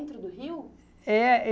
do Rio? É